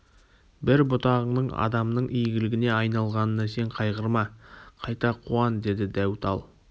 бір бұтағыңның адамның игілігіне айналғанына сен қайғырма қайта қуан деді дәу тал